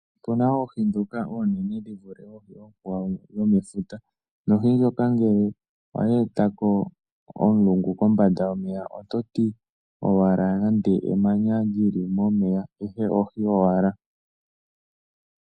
Opuna oohi ndhoka oonene dhi vule oohi oonkwawo dhomefuta. Ohi ndjoka ngele oya e ta ko omulungu kombanda yomeya ototi owala nande emanya li li momeya ashike ohi owala.